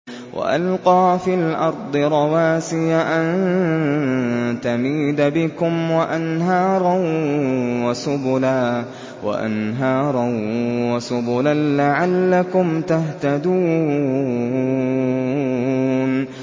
وَأَلْقَىٰ فِي الْأَرْضِ رَوَاسِيَ أَن تَمِيدَ بِكُمْ وَأَنْهَارًا وَسُبُلًا لَّعَلَّكُمْ تَهْتَدُونَ